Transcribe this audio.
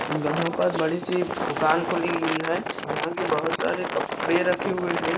यहां पर बड़ी सी दुकान खुली हुई है जहां की बहुत सारे कपड़े रखे हुए हैं।